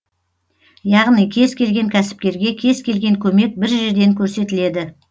яғни кез келген кәсіпкерге кез келген көмек бір жерден көрсетіледі